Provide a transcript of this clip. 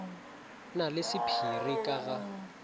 na le sephiri ka ga